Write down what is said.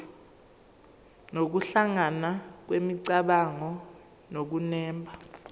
nokuhlangana kwemicabango nokunemba